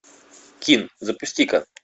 кин запусти ка